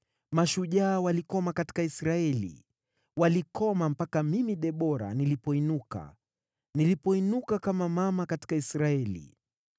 Mashujaa walikoma katika Israeli, walikoma mpaka mimi, Debora, nilipoinuka, nilipoinuka kama mama katika Israeli.